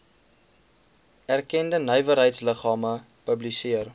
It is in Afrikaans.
erkende nywerheidsliggame publiseer